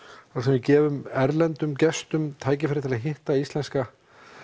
við gefum erlendum gestum tækifæri til að hitta íslenska